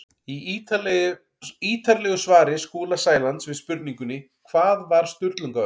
Í ítarlegu svari Skúla Sælands við spurningunni Hvað var Sturlungaöld?